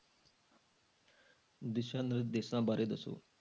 ਦਿਸ਼ਾ ਨਿਰਦੇਸ਼ਾਂ ਬਾਰੇ ਦੱਸੋ।